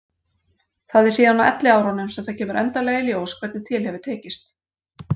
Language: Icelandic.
Það er síðan á elliárunum sem það kemur endanlega í ljós hvernig til hefur tekist.